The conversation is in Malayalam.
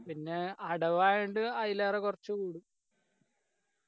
പിന്നെ അടവായൊണ്ട് അയിലേറെ കുറച്ചുള്ളൂ